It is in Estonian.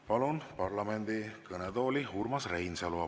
Palun parlamendi kõnetooli Urmas Reinsalu.